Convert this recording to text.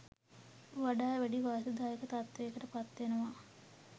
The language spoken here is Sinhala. වඩා වැඩි වාසිදායක තත්ත්වයකට පත්වෙනවා